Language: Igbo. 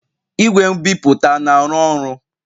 Igwe nbipute na-arụ ọrụ?